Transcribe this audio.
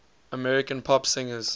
american pop singers